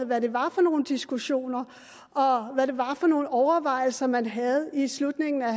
hvad det var for nogle diskussioner og hvad det var for nogle overvejelser man havde i slutningen af